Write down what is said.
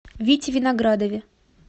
вите виноградове